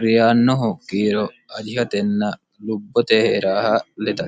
riyaannohu kiiro ajishatenna lubbote hee'raha ledate.